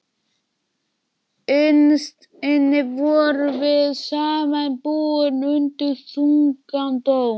Innst inni vorum við samt búin undir þungan dóm.